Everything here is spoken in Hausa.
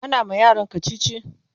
ana ma yaran kachichi